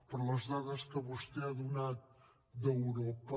però les dades que vostè ha donat d’europa